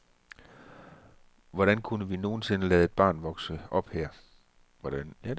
Hvordan kunne vi nogen sinde lade et barn vokse op her?